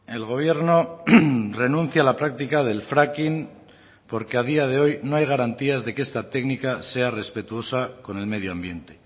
el gobierno renuncia a la práctica del fracking porque a día de hoy no hay garantías de que esta técnica sea respetuosa con el medioambiente